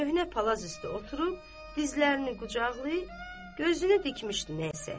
Köhnə palaz üstü oturub, dizlərini qucaqlayıb, gözünü dikmişdi nəysə.